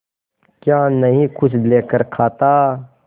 क्या नहीं कुछ लेकर खाता